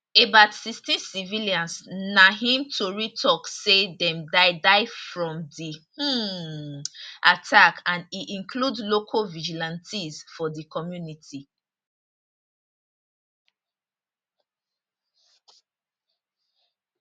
about 16 civilians na im tori tok say dem die die from di um attack and e include local vigilantes for di community